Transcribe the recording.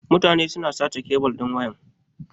Mutane suna sace kebil din waya.